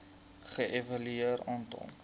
ge evalueer aantal